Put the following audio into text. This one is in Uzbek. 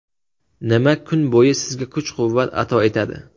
Nima kun bo‘yi sizga kuch-quvvat ato etadi?